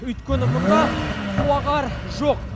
өйткені мұнда суағар жоқ